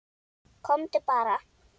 Komdu bara.